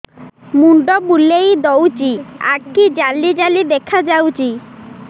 ମୁଣ୍ଡ ବୁଲେଇ ଦଉଚି ଆଖି ଜାଲି ଜାଲି ଦେଖା ଯାଉଚି